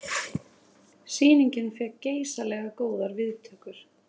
Sýningin fékk geysilega góðar viðtökur